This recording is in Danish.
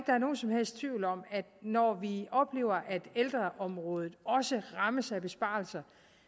der er nogen som helst tvivl om at når vi oplever at ældreområdet også rammes af besparelser